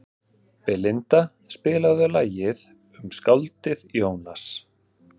Belinda, spilaðu lagið „Um skáldið Jónas“.